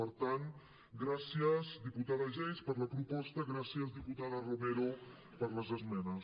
per tant gràcies diputada geis per la proposta gràcies diputada romero per les esmenes